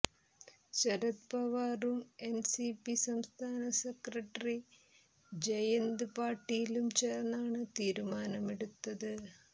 ശരദ് പവാറും എൻസിപി സംസ്ഥാന സെക്രട്ടറി ജയന്ത് പാട്ടീലും ചേർന്നാണ് തീരുമാനമെടുത്തത്